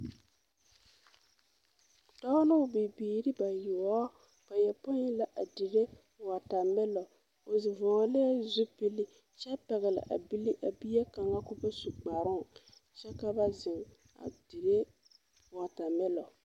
Dɔɔ ne o bibiiri bayoɔ bayɔpoe la a dire wɔtamelɔ o vɔglɛɛ zupili kyɛ pɛgle a bile a bie kaŋa k,o ba su kparoŋ kyɛ ka ba zeŋ a dire wɔtamelɔ.